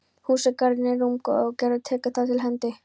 Húsagarðurinn er rúmgóður og Gerður tekur þar til hendi.